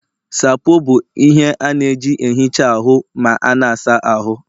Sapoo bụ ihe a na-eji na-ehicha ahụ ma a na-asa ahụ